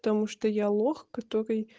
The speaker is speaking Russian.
потому что я лох который